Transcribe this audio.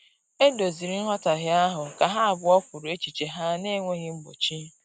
E doziri nghọtahie ahụ ka ha abụọ kwuru echiche ha na-enweghị mgbochi